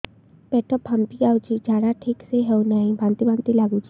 ପେଟ ଫାମ୍ପି ଯାଉଛି ଝାଡା ଠିକ ସେ ହଉନାହିଁ ବାନ୍ତି ବାନ୍ତି ଲଗୁଛି